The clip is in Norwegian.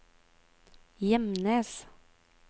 Gjemnes